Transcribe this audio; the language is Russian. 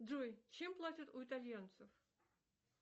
джой чем платят у итальянцев